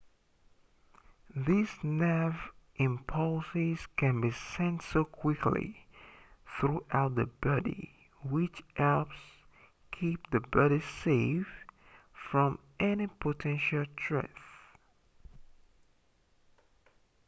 these nerve impulses can be sent so quickly throughout the body which helps keep the body safe from any potential threat